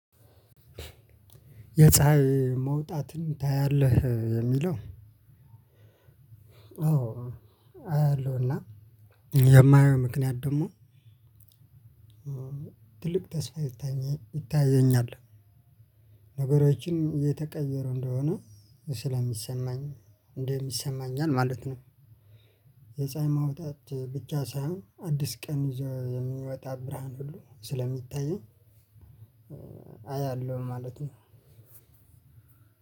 "የፀሀይ መውጣትን ታያለህ?" የሚለው አዎ አያለሁ እና የማየው ምክንያት ደግሞ ትልቅ ተስፋ ይታየ ይታየኛል። ነገሮችን እየተቀየሩ እንደሆነ ስለሚሰማኝ እንደሚሰማኛል ማለት ነው። የፀሀይ መውጣት ብቻ ሳይሆን አዲስ ቀን ያዞ የሚወጣ ብርሃን ሁሉ ስለሚታየኝ አያለሁ ማለት ነው።